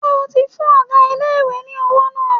Ṣé o ti fún ọgá ilé-ìwé ní owó náà?